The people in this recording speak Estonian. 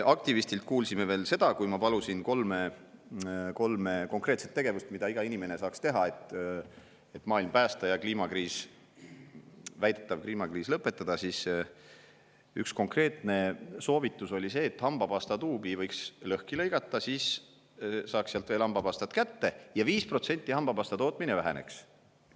Aktivistilt kuulsime veel seda – ma palusin kolm konkreetset tegevust, mida iga inimene saaks teha, et maailma päästa ja väidetav kliimakriis lõpetada –, et tema üks konkreetne soovitus on see, et hambapastatuubi võiks lõhki lõigata, siis saaks sealt veel hambapastat kätte ja hambapastatootmine 5% väheneks.